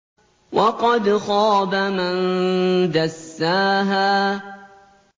وَقَدْ خَابَ مَن دَسَّاهَا